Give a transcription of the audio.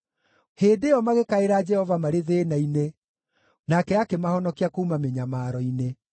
Hĩndĩ ĩyo magĩkaĩra Jehova marĩ thĩĩna-inĩ, nake akĩmahonokia kuuma mĩnyamaro-inĩ.